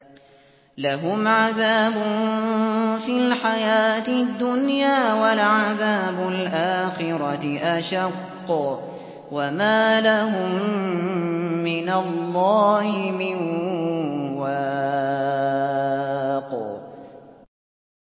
لَّهُمْ عَذَابٌ فِي الْحَيَاةِ الدُّنْيَا ۖ وَلَعَذَابُ الْآخِرَةِ أَشَقُّ ۖ وَمَا لَهُم مِّنَ اللَّهِ مِن وَاقٍ